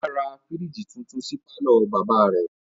Ọlá ra fírìjì tuntun sí pàlọ́ bàbá rẹ̀